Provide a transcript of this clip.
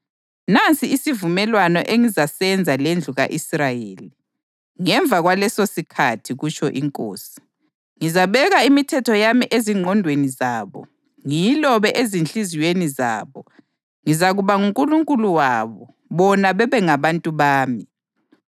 Nansi isivumelwano engizasenza lendlu ka-Israyeli, ngemva kwalesosikhathi, kutsho iNkosi. Ngizabeka imithetho yami ezingqondweni zabo, ngiyilobe ezinhliziyweni zabo. Ngizakuba nguNkulunkulu wabo, bona babengabantu bami.